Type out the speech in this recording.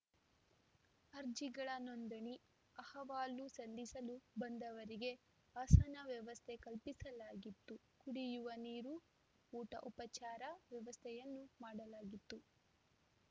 ಅರ್ಜಿಗಳ ನೋಂದಣಿ ಅಹವಾಲು ಸಲ್ಲಿಸಲು ಬಂದವರಿಗೆ ಆಸನ ವ್ಯವಸ್ಥೆ ಕಲ್ಪಿಸಲಾಗಿತ್ತು ಕುಡಿಯುವ ನೀರು ಊಟೋಪಚಾರದ ವ್ಯವಸ್ಥೆಯನ್ನೂ ಮಾಡಲಾಗಿತ್ತು